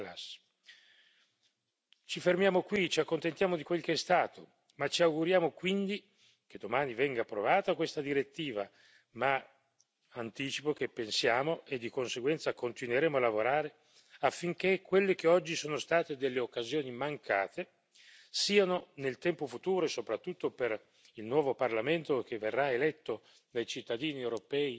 Ci fermiamo qui ci accontentiamo di quello che è stato ma ci auguriamo quindi che domani venga approvata questa direttiva ma anticipo che pensiamo e di conseguenza continueremo a lavorare affinché quelle che oggi sono state delle occasioni mancate siano, nel tempo futuro e soprattutto per il nuovo Parlamento che verrà eletto dai cittadini europei nelle prossime settimane,